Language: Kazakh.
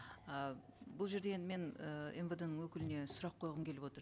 ы бұл жерде енді мен ыыы мвд ның өкіліне сұрақ қойғым келіп отыр